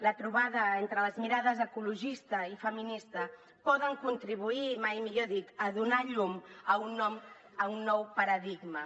la trobada entre les mirades ecologista i feminista pot contribuir i mai millor dit a donar llum a un nou paradigma